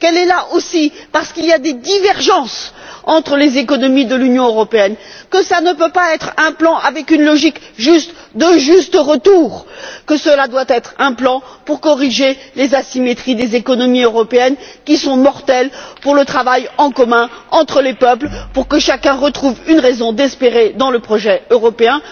N'oubliez pas qu'elle est là aussi parce qu'il y a des divergences entre les économies de l'Union européenne, que cela ne peut pas être un plan avec une logique de juste retour, que cela doit être un plan pour corriger les asymétries des économies européennes, mortelles pour le travail en commun entre les peuples, et que chacun retrouve une raison d'espérer dans le projet européen.